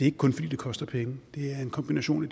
ikke kun fordi det koster penge det er en kombination af